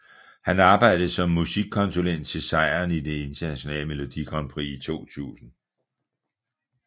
Han arbejdede som musikkonsulent til sejren i det internationale Melodi Grand Prix i 2000